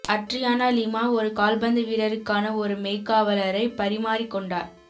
Adriana Lima ஒரு கால்பந்து வீரருக்கான ஒரு மெய்க்காவலரை பரிமாறிக் கொண்டார்